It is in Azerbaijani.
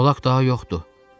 Molak daha yoxdur.